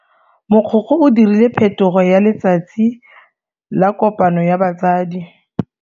Mogokgo o dirile phetogo ya letsatsi la kopano ya batsadi.